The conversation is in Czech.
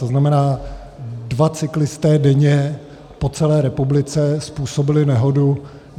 To znamená, dva cyklisté denně po celé republice způsobili nehodu.